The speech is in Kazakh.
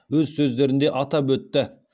өз сөздерінде атап өтті